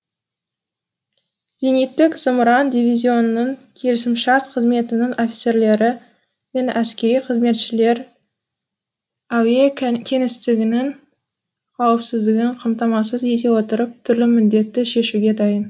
зениттік зымыран дивизионының келісімшарт қызметінің офицерлері мен әскери қызметшілер әуе кеңістігінің қауіпсіздігін қамтамасыз ете отырып түрлі міндетті шешуге дайын